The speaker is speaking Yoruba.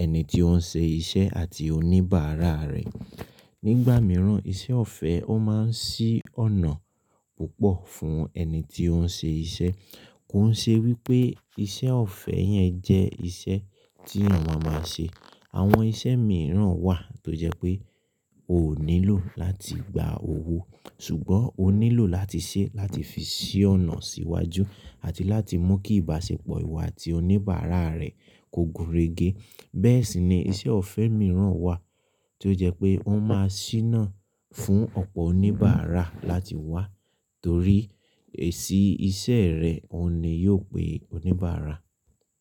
ẹni tí ó ń ṣe iṣẹ́ àti oníbàárà rẹ̀. Nígbà mìíràn, iṣẹ́ ọ̀fẹ́ ó máa ń ṣí ọ̀nà púpọ̀ fún ẹni tí ó ń ṣe iṣẹ́. Kó n ṣe wípé iṣẹ́ ọ̀fẹ́ yẹn jẹ́ iṣẹ́ tí eyan máa ma ṣe. Àwọn iṣẹ́ mìíràn wà tó jẹ́ pé o nílò láti gba owó ṣùgbọ́n o nílò láti ṣe é láti fi ṣí ọ̀nà síwájú àti láti mú kí ìbáṣepọ̀ ìwọ àti oníbàárà rẹ kó gúnrégé. Bẹ́ẹ̀ sì ni iṣẹ́ ọ̀fẹ́ mìíràn wà tí ó jẹ́ pé ó máa ṣíná fún ọ̀pọ̀ oníbàárà láti wá torí èsì iṣẹ́ rẹ̀ ò ní yóò pé oníbàárà.